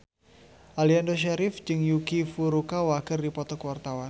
Aliando Syarif jeung Yuki Furukawa keur dipoto ku wartawan